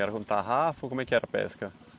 Era com tarrafa ou como é que era a pesca?